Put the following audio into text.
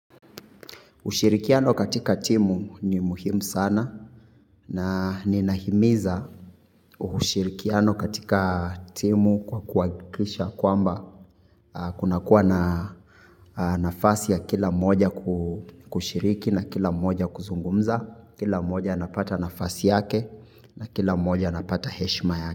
Ushirikiano katika timu ni muhimu sana na ninahimiza ushirikiano katika timu kwa kuhakikisha kwamba kuna kuwa na nafasi ya kila moja kushiriki na kila moja kuzungumza. Kila mmoja anapata nafasi yake na kila mmoja anapata heshima yake.